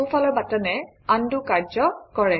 সোঁফালৰ বাটনে আনডু কাৰ্য কৰে